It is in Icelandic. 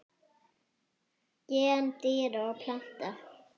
Gen dýra og plantna